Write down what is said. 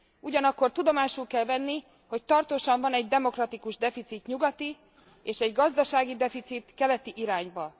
Ugyanakkor tudomásul kell venni, hogy tartósan van egy demokratikus deficit nyugati és egy gazdasági deficit keleti irányba.